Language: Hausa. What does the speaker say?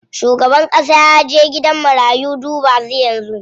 Shugaban ƙasa yaje gidan marayu duba su yanzu.